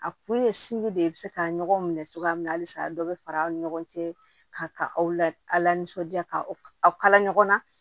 A kun ye de ye i bi se ka ɲɔgɔn minɛ cogoya min na halisa a dɔ be fara aw cɛ ka aw la nisɔndiya ka kala ɲɔgɔn na